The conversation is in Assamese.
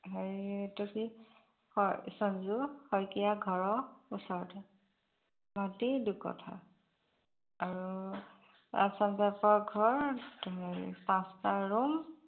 হেৰি এইটো কি সঞ্জু শইকীয়া ঘৰৰ ওচৰতে মাটি দুকঠা আৰু assam type ঘৰ হেৰি পাঁচটা room